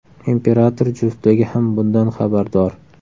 Imperator juftligi ham bundan xabardor.